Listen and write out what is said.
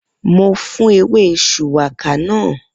Mo fún ewé shùwákà náà